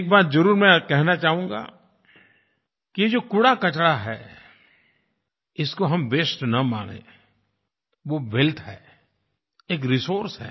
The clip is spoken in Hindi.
एक बात मैं ज़रूर कहना चाहूँगा कि ये जो कूड़ाकचरा है इसको हम वास्ते न मानें वो वेल्थ है एक रिसोर्स है